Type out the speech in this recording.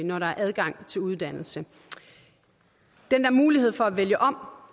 når der er adgang til uddannelse den der mulighed for at vælge om